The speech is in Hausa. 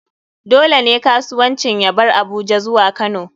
Dole ne kasuwancin ya bar Abuja zuwa kano.